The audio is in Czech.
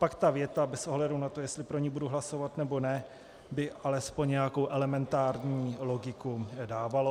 Pak ta věta bez ohledu na to, jestli pro ni budu hlasovat, nebo ne, by alespoň nějakou elementární logiku dávala.